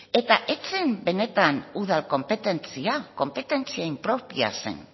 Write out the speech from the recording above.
eta ez zen benetan udal konpetentzia konpetentzia impropia zen